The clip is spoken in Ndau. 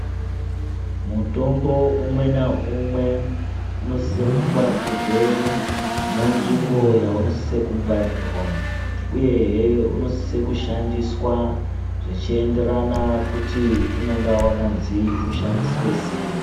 Mutombo umwe na umwe uno sise ku ngwarirwe mu nzvimbo yauno sise ku gwarirwa uyehe uno sise ku shandiswa zvichi enderana kuti unonga wakanzi ushandiswe sei.